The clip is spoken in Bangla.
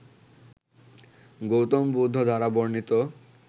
গৌতম বুদ্ধ দ্বারা বর্ণিত